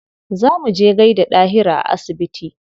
Za mu je mu gaida Dahiru a asibiti.